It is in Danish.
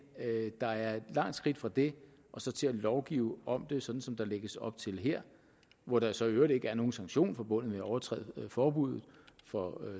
der er et langt skridt fra det og så til at lovgive om det som som der lægges op til her hvor der så i øvrigt ikke er nogen sanktion forbundet med at overtræde forbuddet for